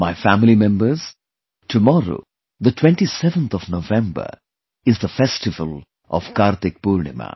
My family members, tomorrow the 27th of November, is the festival of KartikPurnima